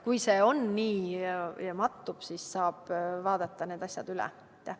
Kui läheb nii, et mattub, siis saab need asjad üle vaadata.